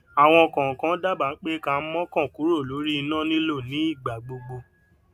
àwọn kọọkan dábàá pé ká mọkàn kúrò lórí iná lílò ní ìgbà gbogbo